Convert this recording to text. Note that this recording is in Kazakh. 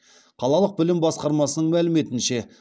қалалық білім басқармасының мәліметінше